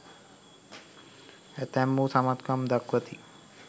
ඇතැම්හු සමත්කම් දක්වති